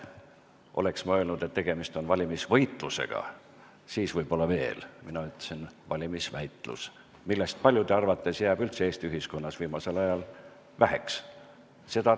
Oleksin ma öelnud, et tegemist on valimisvõitlusega, siis võib-olla veel, aga mina ütlesin "valimisväitlus", mida paljude arvates on Eesti ühiskonnas viimasel ajal üldse väheks jäänud.